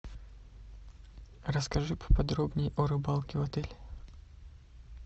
расскажи поподробнее о рыбалке в отеле